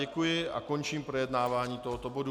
Děkuji a končím projednávání tohoto bodu.